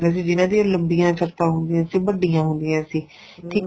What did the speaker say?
ਜਿੰਨਾ ਦੀਆਂ ਲੰਬੀਆਂ ਛੱਤਾਂ ਹੁੰਦੀਆਂ ਸੀ ਵੱਡੀਆਂ ਹੁੰਦੀਆਂ ਸੀ ਠੀਕ ਆ